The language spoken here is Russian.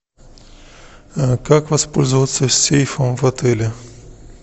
как воспользоваться сейфом в отеле